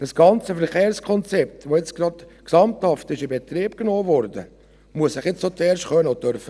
Das ganze Verkehrskonzept, das nun gerade gesamthaft in Betrieb genommen wurde, muss sich jetzt zuerst bewähren können und dürfen.